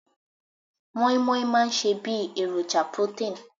Moin moin máa ń ṣe bí èròjà protein